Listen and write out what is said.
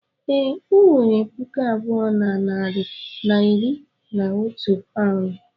Ee, ọ wetere puku abụọ na narị na iri na otu paụnd.